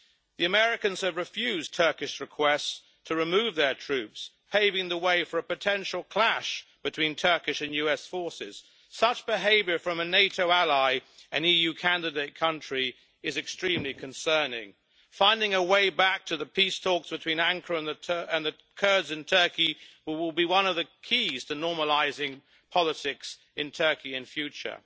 The Americans have refused Turkish requests to remove their troops, paving the way for a potential clash between Turkish and US forces. Such behaviour from a NATO ally and EU candidate country is extremely concerning. Finding a way back to the peace talks between Ankara and the Kurds in Turkey will be one of the keys to normalising politics in Turkey in future,